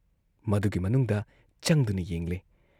ꯃꯗꯨꯒꯤ ꯃꯅꯨꯡꯗ ꯆꯪꯗꯨꯅ ꯌꯦꯡꯂꯦ ꯫